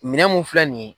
Minɛn mun filɛ nin ye